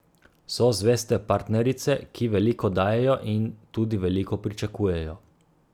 So zveste partnerice, ki veliko dajejo in tudi veliko pričakujejo.